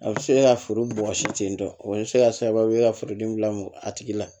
A bɛ se ka foro bɔgɔsi ten tɔ o bɛ se ka kɛ sababu ye ka furudimi bila mɔ a tigi la